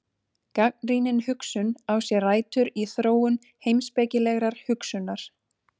Gagnrýnin hugsun á sér rætur í þróun heimspekilegrar hugsunar.